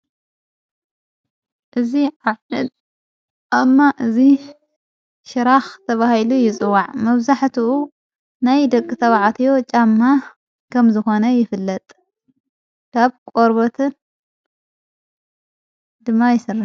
እዝ ዓምድ ኣማ እዝ ሽራኽ ተብሂሉ ይጽዋዕ መብዛሕትኡ ናይ ደቂ ተብዓትዮ ጫማ ከም ዝኾነ ይፍለጥ ካብ ቆርበትን ድማ ይሥራሕ።